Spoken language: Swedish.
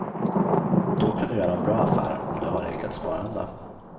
Då kan du göra en bra affär om du har eget sparande.